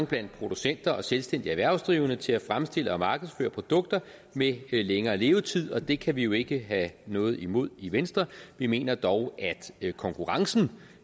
blandt producenter og selvstændige erhvervsdrivende til at fremstille og markedsføre produkter med længere levetid og det kan vi jo ikke have noget imod i venstre vi mener dog at konkurrencen